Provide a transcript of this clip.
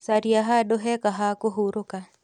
Caria handũ hega ha kũhurũka.